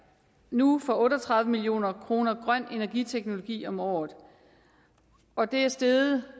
nu for otte og tredive milliard kroner grøn energiteknologi om året og det er steget